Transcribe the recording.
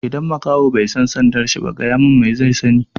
Idan makaho bai san sandar sa ba, gaya mun me zai sani?